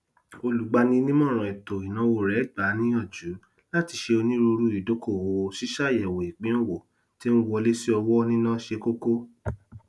olùgbaninímọràn ètò ìnáwó rẹ gbà á níyànjú láti ṣe onírùurù idókòwò ṣíṣàyẹwò ipin owó tí n wọlésíowó níná ṣe kókó